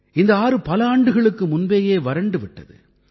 இந்த ஆறு பல ஆண்டுகளுக்கு முன்பேயே வறண்டு விட்டது